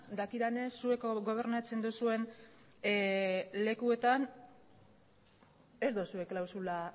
dakidanez zuek gobernatzen duzuen lekuetan ez duzue klausula